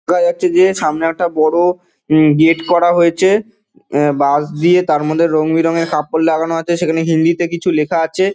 দেখা যাচ্ছে যে সামনে একটা বড়ো উম গেট করা হয়েছে উম বাশ দিয়ে তার মধ্যে রং বেরং এর কাপড় লাগানো আছে সেখানে হিন্দিতে কিছু লেখা আছে।